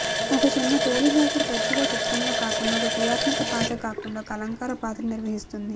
ఒక చిన్న తోలు జాకెట్ తరచుగా చిత్రంలో కాకుండా ఒక క్రియాత్మక పాత్ర కాకుండా ఒక అలంకార పాత్రను నిర్వహిస్తుంది